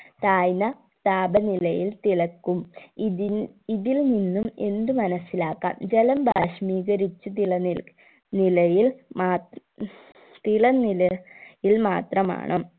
താഴ്ന്ന താപനിലയിൽ തിളക്കും ഇതിൽ ഇതിൽ നിന്നും എന്ത് മനസിലാക്കാം ജലം ബാഷ്പീകരിച്ച തിലനിൽ നിലയിൽ മാത് തിളനില യിൽ മാത്രമാണ്